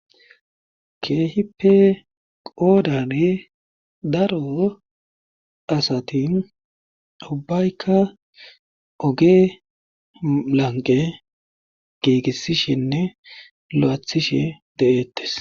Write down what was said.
Keehippe qoodane daro asatin ubbaykka oge lanqe giigissishenne lo7aathishe de7eettes.